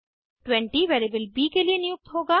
20 variable ब के लिए नियुक्त होगा